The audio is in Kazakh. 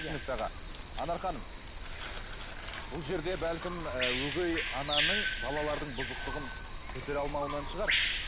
түсінікті аға анар ханым бұл жерде бәлкім ы өгей ананың балалардың бұзықтығын көтере алмауынан шығар